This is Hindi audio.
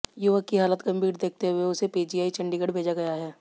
युवक की हालत गंभीर देखते हुए उसे पीजीआई चंडीगढ़ भेजा गया है